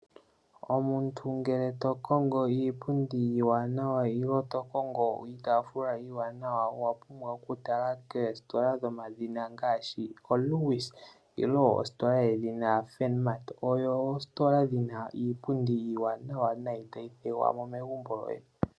Omuntu ngele to kongo iipundi nenge iitaafula iiwanawa owa pumbwa okutala koositola dhomadhina ngaashi oLewis nenge ositola edhina Funmart. Odho oositola dhi na iipundi iiwanawa noonkondo tayi opala mo megumbo.